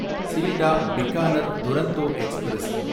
Sealdah Bikaner Duronto express